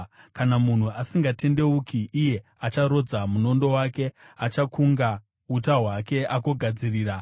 Kana munhu asingatendeuki, iye acharodza munondo wake; achakunga uta hwake agogadzirira.